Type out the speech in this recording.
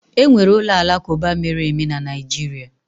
Enwere ụlọ alakụba mere eme na Naịjirịa.